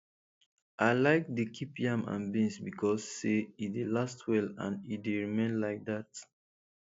i like dey keep yam and beans becos say e dey last well and and e dey remain like that